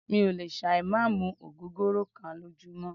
Mí ò lè ṣà ì má mú ògógóró kán lójúmọ́.